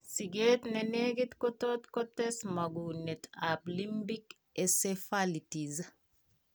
Sikeet nenekit kotot kotes mong'uneet ab limbic encephalitis